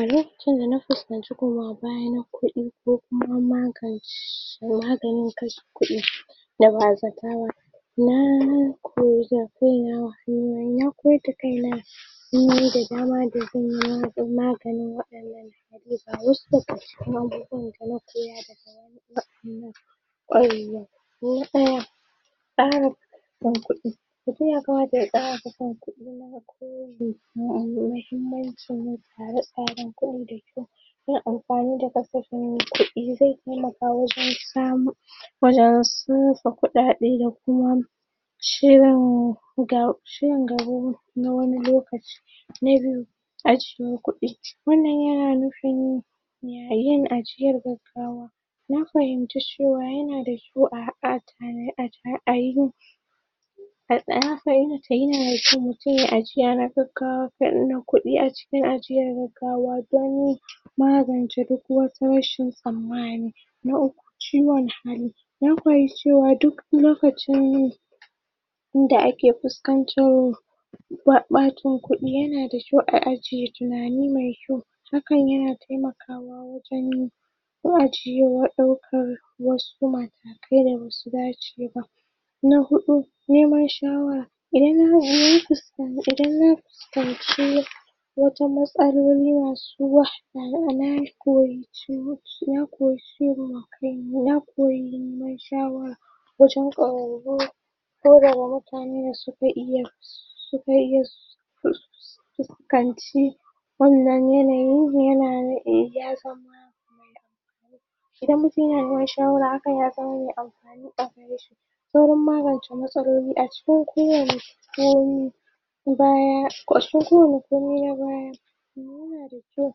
Ire-iren kashe ƙudi bayan ƙudi ko kuma maganin kashe ƙudi da ba'azata ko magani ga wasu da suka ko kuma ƙarasa kan ƙudi ko kuma ya ƙarasa kan ƙudi muhimmanci tsare tsare ko da kyau sa amfani da kasafin ƙudi ze taimaka wajan samun da asusun ƙudade da kuma shirin ga shirin gaba na wani lokaci wajan ajiye ƙudi wannan yana nufin yayin ajiyar gagawa mun fahinci cewa yana da su a adane a dan haka yanada kyau mtum yayi ajiya na gagawa na ƙudi cikin ajiyan gagawa don magance duk wata rashin tsamani na uku ciwon hali, mun fahimci cewa duk wani lokaci wanda ake fuskantar ɓaɓacin ƙudi yanada kyau a ajiye tunani mai kyau sukan taimakawa wajan ko ajiye wayansu da wanda basu dace ba na huɗu neman shawara, idan fiskanci wata matsaloli na zuwa, anan ko niman shawara wajan kwararu ɗaya daga mutanen da suka iya suka su kanci wannan yanayi yana nufin ya zama idan mutum yana niman shawara akan amfani a wurin shi sauran magance matsaloli a cikin kowane komin bayan a cikin kowani komai na baya yanada kyau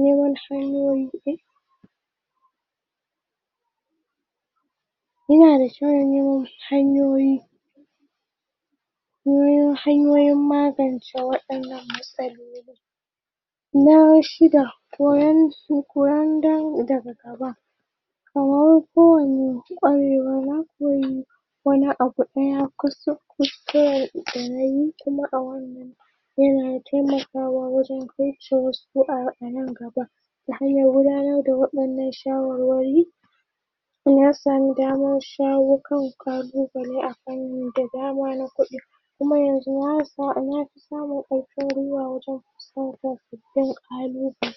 neman hanyoyi yanada kyau neman hanyoyi neman hanyoyin magance wayannan matsaloli na shida koyon daga gaba wani abu inya kusa kuskuren danayi kuma a wannan yana taimakawa wajan a nan gaba ana gudanar da wayannan shawarwari na samu damar shawon kan kalubale akan da dama na kuɗi na fi samun alfa'ari a wajan kalubale.